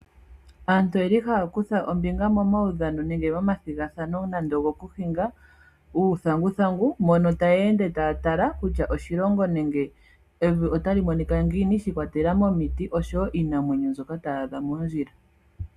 Aantu oyeli haya kutha ombinga mo maudhano nenge omathigathano nando ogo kuhinga uuthanguthangu . Mono taya ende taa tala kutya oshilongo nenge evi otali monika ngiini shi ikwatelela momiti noshowo iinamwenyo mbyoka taya adha moondjila .